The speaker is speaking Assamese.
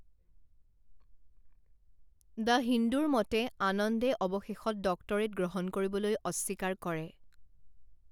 দ্য হিন্দুৰ মতে, আনন্দে অৱশেষত ডক্টৰেট গ্ৰহণ কৰিবলৈ অস্বীকাৰ কৰে।